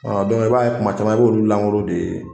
i b'a ye kuma caman i b'olu lankolon de ye